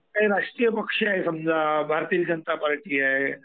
राष्ट्रीय पक्ष आहेत समजा भारतीय जनता पार्टी आहे.